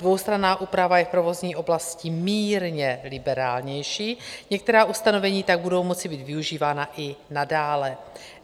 Dvoustranná úprava je v provozní oblasti mírně liberálnější, některá ustanovení tak budou moci být využívána i nadále.